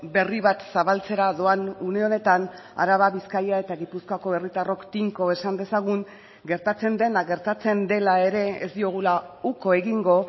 berri bat zabaltzera doan une honetan araba bizkaia eta gipuzkoako herritarrok tinko esan dezagun gertatzen dena gertatzen dela ere ez diogula uko egingo